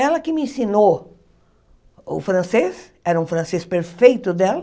Ela que me ensinou o francês, era um francês perfeito dela,